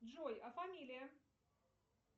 джой а фамилия